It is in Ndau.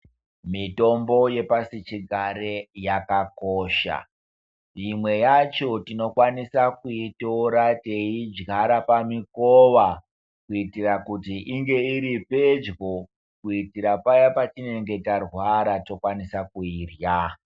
Mitombo yepashi chigare yakakosha imwe yacho tinokwanisa kuitira teidyara pamikova kuitira kuti inge iri pedyo kuitira paya patinenge tarwara tokwanisa kuirya.